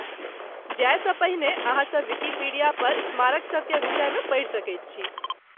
जायसँ पहिने अहाँ सभ विकिपीडियापर स्मारक सभकेँ विषयमे पढ़ि सकैत छी।